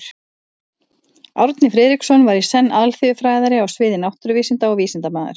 Árni Friðriksson var í senn alþýðufræðari á sviði náttúruvísinda og vísindamaður.